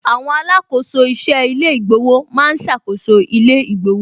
Àwọn alákòóso iṣẹ́ ilé ìgbowó ma ń ṣàkóso ilé ìgbowó